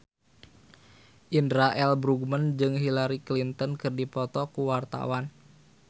Indra L. Bruggman jeung Hillary Clinton keur dipoto ku wartawan